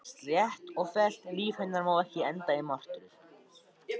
Slétt og fellt líf hennar má ekki enda í martröð.